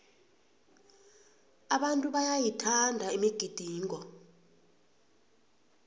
abantu bayayithanda imigidingo